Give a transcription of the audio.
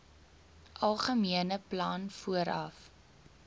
algemene plan vooraf